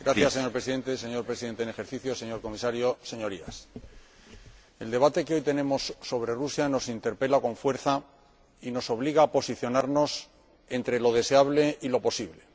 Señor Presidente, señor Presidente en ejercicio del Consejo, señor Comisario, Señorías, el debate que hoy tenemos sobre Rusia nos interpela con fuerza y nos obliga a posicionarnos entre lo deseable y lo posible.